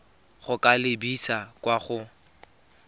go ka lebisa kwa go